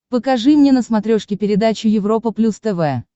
покажи мне на смотрешке передачу европа плюс тв